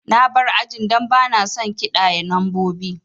Na bar ajin dan bana son kiɗaye lambobi